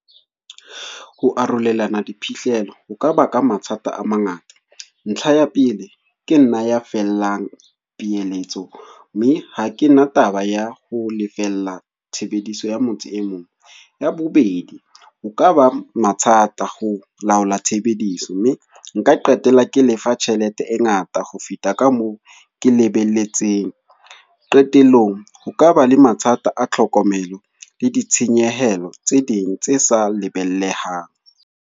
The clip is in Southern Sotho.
Ho arolelana diphihlello, ho ka baka mathata a mangata. Ntlha ya pele, ke nna ya fellang piyelletso. Mme ha ke na taba ya ho lefella tshebediso ya motho e mong. Ya bobedi ho ka ba mathata ho laola tshebediso. Mme nka qetella ke lefa tjhelete e ngata ho feta ka moo ke lebelletseng. Qetellong, ho kaba le mathata a tlhokomelo le ditshenyehelo tse ding tse sa lebellehang.